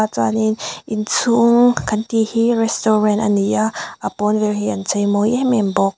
chuanin inchhung kan tih hi restaurant a ni a a pawn vel hi an chei mawi em em bawk.